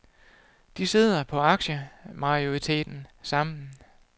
De sidder på aktiemajoriteten sammen.